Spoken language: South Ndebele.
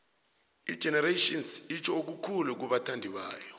igenerations itjho okukhulu kubathandibayo